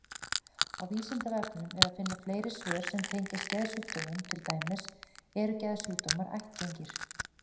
Á Vísindavefnum er að finna fleiri svör sem tengjast geðsjúkdómum, til dæmis: Eru geðsjúkdómar ættgengir?